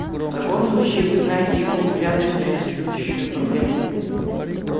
в таком случае вы знаете его взгляды существующую проблему